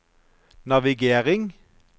navigering